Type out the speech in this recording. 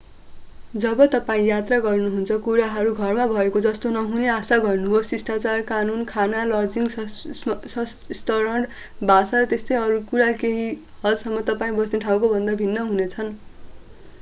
जब तपाईं यात्रा गर्नुहुन्छ कुराहरू घरमा भएको जस्तो नहुने आशा गर्नुहोस् शिष्टाचार कानून खाना लजिङ स्तरण भाषा र त्यस्तै अरू कुरा केही हदसम्म तपाईं बस्ने ठाउँकोभन्दा भिन्न हुनेछन्